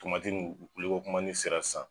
Tomatinu wili ko kuma ni sera sisan.